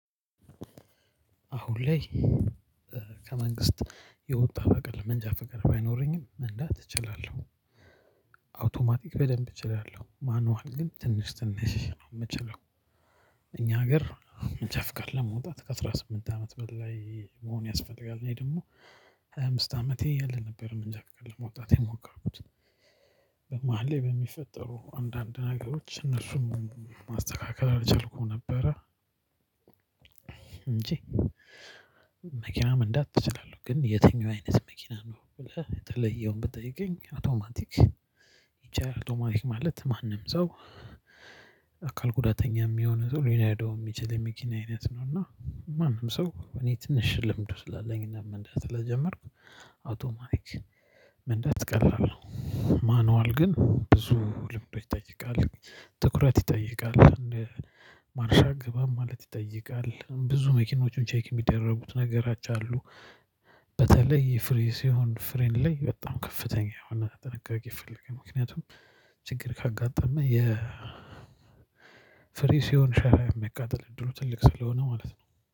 አሁን ላይ ከመንግስት የወጣ በቃ መንጃ ፍቃድ ባይኖረኝም መንዳት እችላለሁ። አውቶማቲክ በደንብ እችላለሁ፥ ማኑዋል ግን ትንሽ ትንሽ ነው የምችለው። እኛ ሀገር መንጃ ፍቃድ ለማውጣት ከአስራ ስምንት አመት በላይ መሆን ያስፈልጋል። እኔ ደግሞ ሃያ አምስት አመቴ እያለ ነበር መንጃ ፍቃድ ለማውጣት የሞከርኩት። መሁል ላይ በሚፈጠሩ አንዳንድ ነገሮች እነሱን ማስተካከል አልቻልኩም ነበረ እንጂ መኪና መንዳት እችላለሁ። ግን የትኛው አይነት መኪና ነው ብለህ የተለየውን ብትጠይቀኝ፥ አውቶማቲክ እቺ አውቶማቲክ ማለት ማንም ሰው አካል ጉዳተኛም የሆነ ሰው ሊነዳው ሚችል የመኪና አይነት ነው እና ማንም ሰው እኔ ትንሽ ልምዱ ስላለኝና መንዳት ስለጀመርኩ አውቶማቲ መንዳት ቀላል ነው። ማኑዋል ግን ብዙ ልምዶች ይጠይቃል፣ ትኩረት ይጠይቃል ማርሽ አገባብ ማለት ይጠይቃል ብዙ መኪኖቹ ቼክ የሚደረጉት ነገሮች አሉ። በተለይ ፍሪሲዎን፣ ፍሬን ላይ በጣም ከፍተኛ የሆነ ጥንቃቄ ይፈልጋል። ምክንያቱም ችግር ካጋጠመ የ ፍሪሲዮን ሸራ የመቃጠል እድሉ ትልቅ ስለሆነ ማለት ነው።